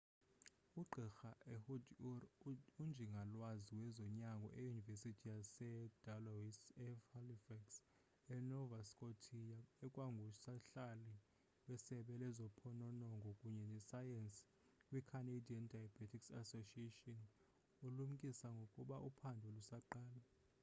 ugqirha ehud ur unjingalwazi wezonyango eyunivesithi yasee-dalhousie e-halifax e-nova scotia ekwangusihlali wesebe lezophononongo kunye nesayensi kwi-canadian diabetes association ulumkise ngokuba uphando lusaqala